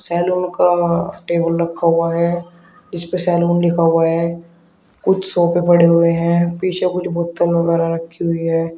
Salon का table रखा हुआ है जिसपे सैलून लिखा हुआ है कुछ सोफे पड़े हुए हैं पीछे कुछ बोतल वगैरा रखी हुई हैं।